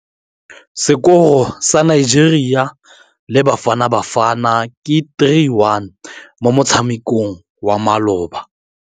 Sekôrô sa Nigeria le Bafanabafana ke 3-1 mo motshamekong wa malôba.